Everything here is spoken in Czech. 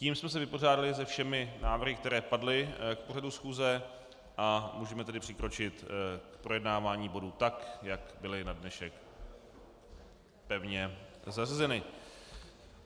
Tím jsme se vypořádali se všemi návrhy, které padly k pořadu schůze, a můžeme tedy přikročit k projednávání bodů tak, jak byly na dnešek pevně zařazeny.